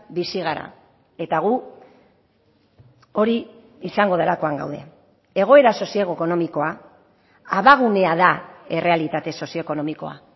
bizi gara eta gu hori izango delakoan gaude egoera sozioekonomikoa abagunea da errealitate sozioekonomikoa